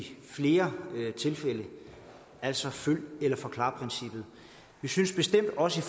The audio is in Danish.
flere tilfælde altså følg eller forklar princippet vi synes bestemt også